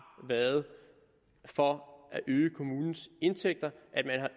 været for at øge kommunens indtægter at man